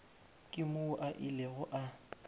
ke moo a ilego a